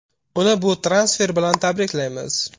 Uni bu transfer bilan tabriklaymiz!